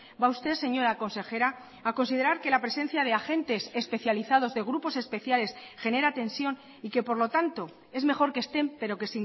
va usted señora consejera a considerar que la presencia de agentes especializados de grupos especiales genera tensión y que por lo tanto es mejor que estén pero que